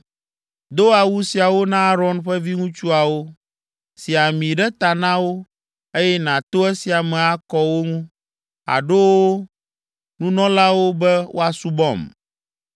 Do awu siawo na Aron ƒe viŋutsuawo. Si ami ɖe ta na wo, eye nàto esia me akɔ wo ŋu, aɖo wo nunɔlawo be woasubɔm.